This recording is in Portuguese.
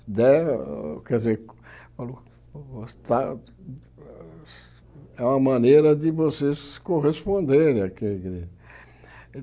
Quer dizer, é uma maneira de vocês corresponderem àquele